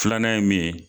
Filanan ye min ye